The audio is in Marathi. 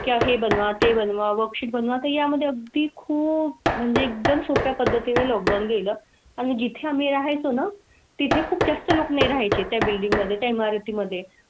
काहे बनवा ते बनवा वर्कशीट बनवा. त्या मध्ये अगदी खूप म्हणजे एकदम सोप्या पद्धतीने लोक धावून गेला आणि जिथे आम्ही राहतो ना तिथे खूप जास्त लूक ने राहाय चे. त्या बिल्डींग मध्ये त्या इमारती मध्ये.